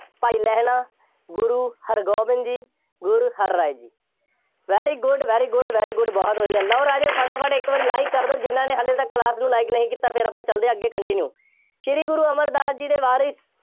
ਭਾਈ Lehna, Guru Hargobind ji, Guru Har Rai ji, very good, very good, very good ਬਹੁਤ ਵਧੀਆ, ਲਓ ਰਾਜੇ ਫਟਾਫਟ ਇੱਕ ਵਾਰੀ like ਕਰ ਦਿਓ, ਜਿੰਨ੍ਹਾ ਨੇ ਹਾਲੇ ਤੱਕ class ਨੂੰ like ਨਹੀਂ ਕੀਤਾ, ਫੇਰ ਆਪਾਂ ਚੱਲਦੇ ਹਾਂ ਅੱਗੇ continue